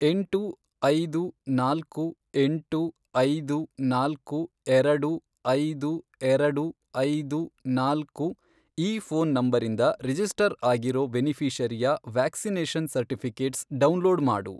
ಎಂಟು, ಐದು, ನಾಲ್ಕು, ಎಂಟು, ಐದು, ನಾಲ್ಕು, ಎರಡು, ಐದು, ಎರಡು, ಐದು, ನಾಲ್ಕು, ಈ ಫ಼ೋನ್ ನಂಬರಿಂದ ರಿಜಿಸ್ಟರ್ ಆಗಿರೋ ಬೆನಿಫಿ಼ಷರಿಯ ವ್ಯಾಕ್ಸಿನೇಷನ್ ಸರ್ಟಿಫಿ಼ಕೇಟ್ಸ್ ಡೌನ್ಲೋಡ್ ಮಾಡು.